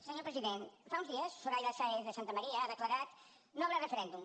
senyor president fa uns dies soraya sáenz de santamaría ha declarat no habrá referéndum